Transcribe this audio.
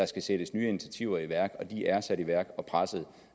skal sættes nye initiativer i værk og de er sat i værk og presset